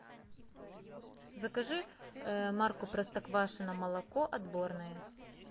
закажи марку простоквашино молоко отборное